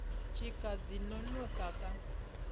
tshika dzi no nukha kha